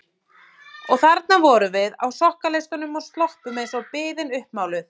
Og þarna vorum við á sokkaleistum og sloppum eins og biðin uppmáluð.